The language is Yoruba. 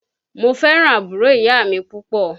Mo fẹ́ràn àbúrò ìyá mi púpọ̀